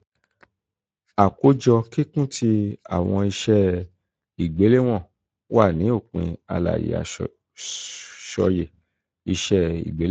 akojọ kikun ti awọn iṣe igbelewọn wa ni opin alaye asọye iṣe igbelewọn yii.